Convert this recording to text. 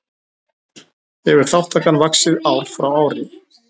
Hefur þátttakan vaxið ár frá ári